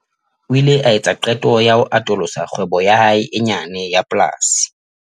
O ile a etsa qeto ya ho atolosa kgwebo ya hae e nyane ya polasi.